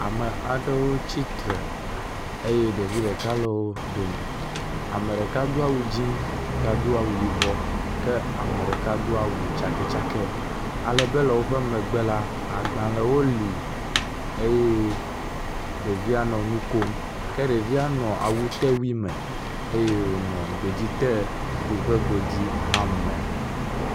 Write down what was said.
Ame aɖewo tsitre eye ɖevi ɖeka le wo dome, ame ɖeka do awu dzɛ̃, ame ɖeka do awu yibɔ, ane ɖeka do awu tsakɛtsakɛ, alebe le woƒe megbe la, agbalẽwo li eye ɖevia nɔ nu kom, ke ɖevia nɔ awutewui me, eye wònɔ godui te ƒe godui hã me.